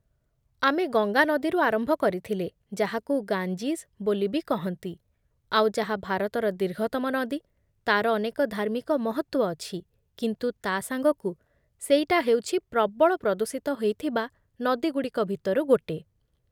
ଆମେ ଗଙ୍ଗା ନଦୀରୁ ଆରମ୍ଭ କରିଥିଲେ, ଯାହାକୁ 'ଗାଞ୍ଜିଜ୍' ବୋଲି ବି କହନ୍ତି, ଆଉ ଯାହା ଭାରତର ଦୀର୍ଘତମ ନଦୀ, ତା'ର ଅନେକ ଧାର୍ମିକ ମହତ୍ତ୍ୱ ଅଛି, କିନ୍ତୁ ତା' ସାଙ୍ଗକୁ, ସେଇଟା ହେଉଛି ପ୍ରବଳ ପ୍ରଦୂଷିତ ହେଇଥିବା ନଦୀଗୁଡ଼ିକ ଭିତରୁ ଗୋଟେ ।